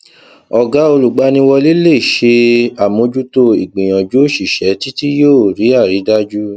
ọgá olùgbaniwọlé lè ṣe àmójútó ìgbìyànjú òṣìṣẹ títí yóò rí àrídájú